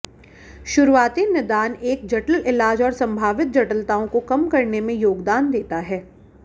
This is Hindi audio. शुरुआती निदान एक जटिल इलाज और संभावित जटिलताओं को कम करने में योगदान देता है